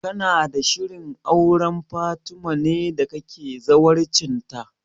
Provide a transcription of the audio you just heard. Kana da shirin auren Fatima ne da kake zawarcin ta?